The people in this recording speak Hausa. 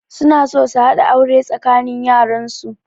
Suna so su haɗa aure tsakanin yaran su